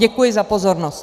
Děkuji za pozornost.